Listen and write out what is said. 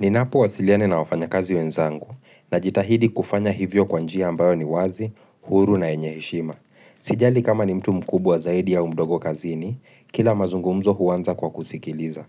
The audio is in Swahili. Ninapo wasiliane na wafanya kazi wenzangu, na jitahidi kufanya hivyo kwa njia ambayo ni wazi, huru na yenye heshima. Sijali kama ni mtu mkubwa zaidi au mdogo kazini, kila mazungumzo huwanza kwa kusikiliza.